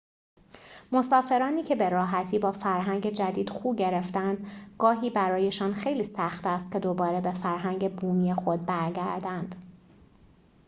مسافرانی که به‌راحتی با فرهنگ جدید خو گرفتند گاهی برایشان خیلی سخت است که دوباره به فرهنگ بومی خود برگردند